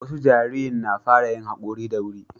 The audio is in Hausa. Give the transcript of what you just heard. wasu jarirn na fara yin hakori da wuri